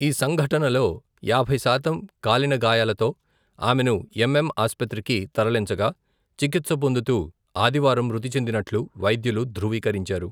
ఈ సంఘటనలో, యాబై శాతం కాలిన గాయాలతో, ఆమెను ఎం.ఎం ఆస్పత్రికి తరలించగా, చికిత్స పొందుతూ ఆదివారం మృతిచెందినట్లు వైద్యులు ధ్రువీకరించారు.